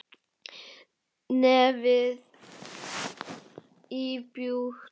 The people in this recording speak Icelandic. Nefið íbjúgt.